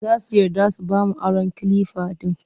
Za su yarda su ba mu aron kalifa ɗin